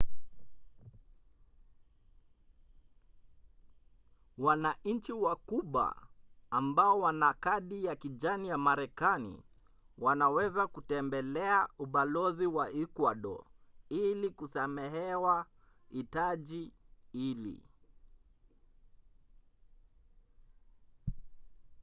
wananchi wa kuba ambao wana kadi ya kijani ya marekani wanaweza kutembelea ubalozi wa ekuado ili kusamehewa hitaji hili